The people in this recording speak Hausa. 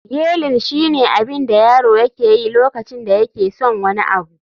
yeiling shine abin da yaro yake yi lokacin da yake son wani abu